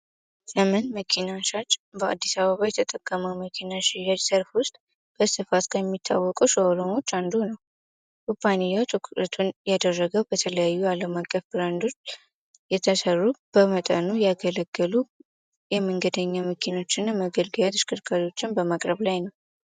ዘመን መኪና ሻች በአዲሳ አበባ የተጠቀመው መኪና ሽያጅ ሰርፍ ውስጥ በስተፋስ ከሚታወቀ ሸሆሎሞች አንዱ ነው ሩፓኒያው ጦኩረቱን ያደረገው በተለያዩ አለማቀፍ ብራንዶች የተሰሩብ በመጠኑ ያገለገሉ የመንገደኛ ምኪኖች እና መገድጋያ ትሽክርካዶችን በማቅረብ ላይ ነው።